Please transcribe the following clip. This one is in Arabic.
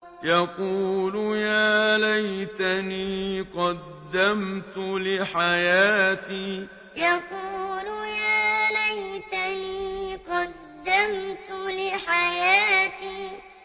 يَقُولُ يَا لَيْتَنِي قَدَّمْتُ لِحَيَاتِي يَقُولُ يَا لَيْتَنِي قَدَّمْتُ لِحَيَاتِي